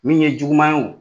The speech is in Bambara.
Min ye juguuma ye o